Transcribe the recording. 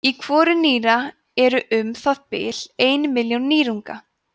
í hvoru nýra eru um það bil ein milljón nýrunga